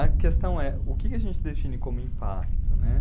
A questão é, o que a gente define como impacto, né?